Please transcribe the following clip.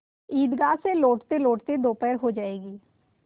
ईदगाह से लौटतेलौटते दोपहर हो जाएगी